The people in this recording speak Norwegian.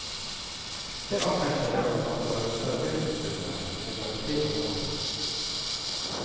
Det offentlige er opptatt av å redusere driftstilskuddene til kollektivtransporten.